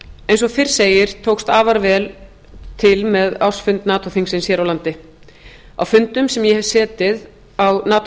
eins og fyrr sagði tókst afskaplega vel til með ársfund nato þingsins hér á landi á fundum sem ég hef setið á nato